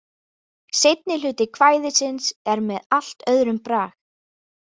Seinni hluti kvæðisins er með allt öðrum brag.